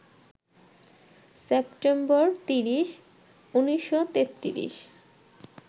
September ৩০, ১৯৩৩